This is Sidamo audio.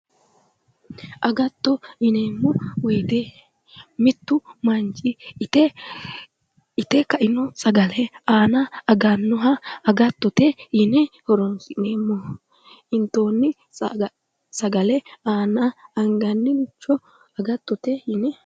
agatto yineemmo wote mittu manchi ite kaino sagale aana agannoha agattote yine horonsi'neemmo intoonni sagale aana anganniricho agattote yine.